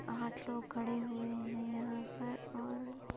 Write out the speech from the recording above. आठ लोग खड़े हुए हैं यहाँ पर और --